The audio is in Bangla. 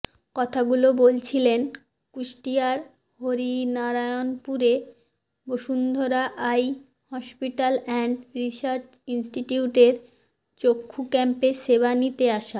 কথাগুলো বলছিলেন কুষ্টিয়ার হরিনারায়নপুরে Bashundhara eye hospital and research ইনস্টিটিউটের চক্ষু ক্যাম্পে সেবা নিতে আসা